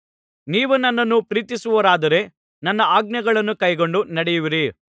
ನೀವು ನನ್ನನ್ನು ಪ್ರೀತಿಸುವವರಾದರೆ ನನ್ನ ಆಜ್ಞೆಗಳನ್ನು ಕೈಕೊಂಡು ನಡೆಯುವಿರಿ